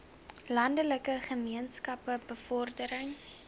landelike gemeenskappe bevordering